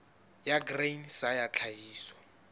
ya grain sa ya tlhahiso